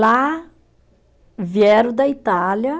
Lá vieram da Itália.